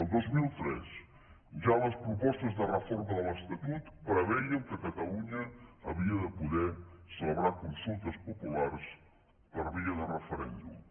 el dos mil tres ja a les propostes de reforma de l’estatut prevèiem que catalunya havia de poder celebrar consultes populars per via de referèndum